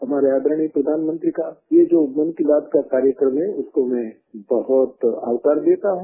हमारे आदरणीय प्रधानमंत्री का ये जो मन की बात का कार्यक्रम है उसको मैं बहुत आवकार देता हूँ